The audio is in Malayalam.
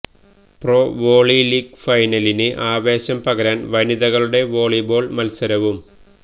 പ്രോ വോളി ലീഗ് ഫൈനലിന് ആവേശം പകരാന് വനിതകളുടെ വോളിബോള് മത്സരവും